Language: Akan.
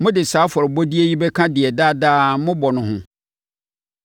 Mode saa afɔrebɔdeɛ yi bɛka deɛ daadaa mobɔ no ho.